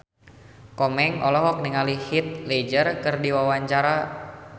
Komeng olohok ningali Heath Ledger keur diwawancara